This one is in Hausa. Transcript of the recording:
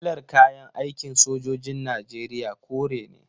Kalar kayan aikin sojojin Najeriya kore ne.